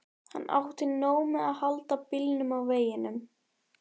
Hann átti nóg með að halda bílnum á veginum.